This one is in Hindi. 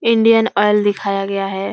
इंडियन ऑइल दिखाया गया है।